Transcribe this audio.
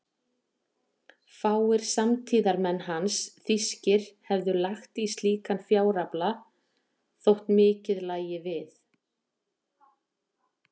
Fáir samtíðarmenn hans þýskir hefðu lagt í slíkan fjárafla, þótt mikið lægi við.